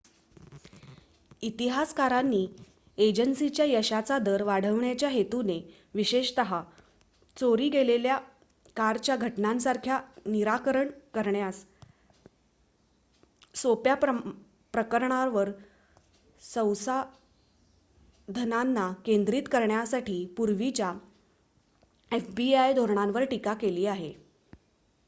इतिहासकारांनी एजन्सीच्या यशाचा दर वाढविण्याच्या हेतूने विशेषत चोरी गेलेल्या कारच्या घटनांसारख्या निराकरण करण्यास सोप्या प्रकरणांवर संसाधनांना केंद्रित करण्यासाठी पूर्वीच्या fbi धोरणांवर टीका केली आहे